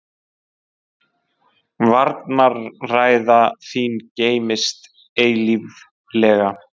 Varnarræða þín geymist eilíflega.